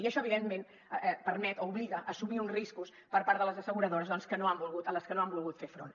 i això evidentment permet o obliga a assumir uns riscos per part de les asseguradores als que no han volgut fer front